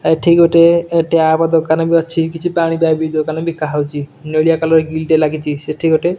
ଏଠି ଗୋଟେ ଟ୍ୟାପ୍ ଦୋକାନ ବି ଅଛି କିଛି ପାଣି ପାଇପ୍ ଦୋକାନ ବିକା ହଉଛି ନେଳିଆ କଲର୍ ଗ୍ରିଲ୍ ଟେ ଲାଗିଚି ସେଠି ଗୋଟେ --